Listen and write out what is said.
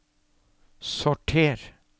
sorter